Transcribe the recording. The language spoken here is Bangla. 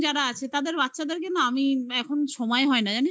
এইরকম যারা আছে তাদের বাচ্চাদেরকে না আমি এখন সময় হয় না